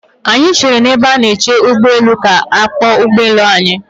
Anyị chere n'ebe ndị na-eche ụgbọ elu ha ka a kpọọ ụgbọ elu anyị.